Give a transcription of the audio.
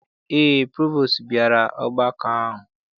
Eé, provostu bịara ọgbakọ ahụ.